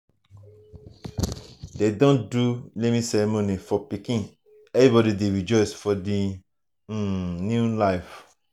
dem don do naming ceremony for pikin everybody dey rejoice for the um new life.